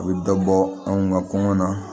A bɛ dɔ bɔ anw ka kɔngɔ na